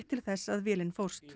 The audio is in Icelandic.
til þess að vélin fórst